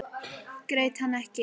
Grét hann ekki.